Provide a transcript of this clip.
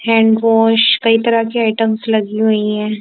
Hand wash कई तरह की आइटमस लगी हुई हैं।